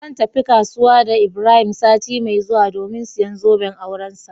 Zan tafi kasuwa da ibrahim sati mai zuwa domin siyan zoben aurensa.